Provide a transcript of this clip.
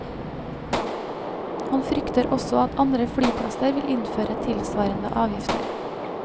Han frykter også at andre flyplasser vil innføre tilsvarende avgifter.